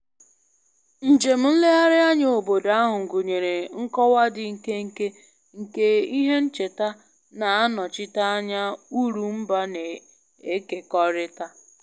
Njem nlegharị anya obodo ahụ gụnyere nkọwa dị nkenke nke ihe ncheta na-anọchite anya uru mba na-ekekọrịta